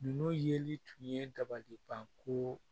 Ninnu yeli tun ye dabalibanko